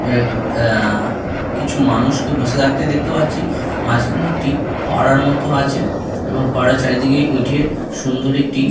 উম অ আ কিছু মানুষকে বসে থাকতে দেখতে পাচ্ছি মাঝখানে একটি ফোয়ারার মতো আছে ফোয়ারার চারিদিকে ইটের সুন্দর একটি--